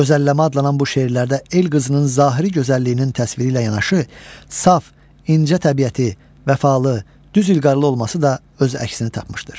Gözəlləmə adlanan bu şeirlərdə el qızının zahiri gözəlliyinin təsviri ilə yanaşı, saf, incə təbiəti, vəfalı, düz ilqarlı olması da öz əksini tapmışdır.